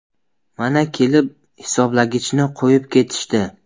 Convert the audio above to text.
Mana, kelib, hisoblagichni qo‘yib ketishdi.